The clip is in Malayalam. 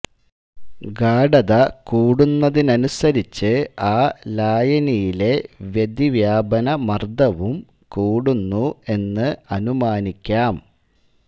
ഗാഢത കൂടുന്നതിനനുസരിച്ച് ആ ലായനിയിലെ വൃതിവ്യാപനമർദ്ദവും കൂടുന്നു എന്ന് അനുമാനിക്കാം